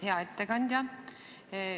Hea ettekandja!